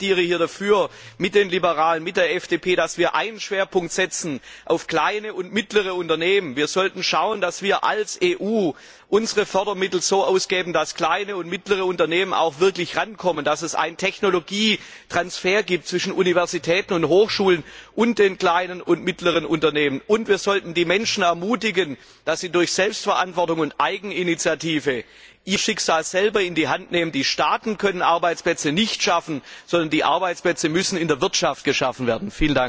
Ich plädiere dafür mit den Liberalen, mit der FDP dass wir einen Schwerpunkt auf kleine und mittlere Unternehmen setzen. Wir sollten schauen, dass wir als EU unsere Fördermittel so ausgeben, dass kleine und mittlere Unternehmen auch wirklich herankommen, dass es einen Technologietransfer zwischen Universitäten und Hochschulen und den kleinen und mittleren Unternehmen gibt. Und wir sollten die Menschen ermutigen, dass sie durch Selbstverantwortung und Eigeninitiative ihr Schicksal selber in die Hand nehmen. Die Staaten können keine Arbeitsplätze schaffen, sondern die Arbeitsplätze müssen in der Wirtschaft geschaffen werden.